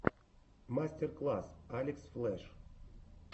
мастер класс алекс флеш